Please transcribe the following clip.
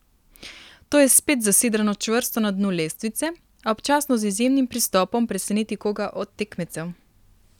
To je spet zasidrano čvrsto na dnu lestvice, a občasno z izjemnim pristopom preseneti koga od tekmecev.